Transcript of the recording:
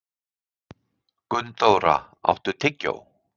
Gunndóra, áttu tyggjó?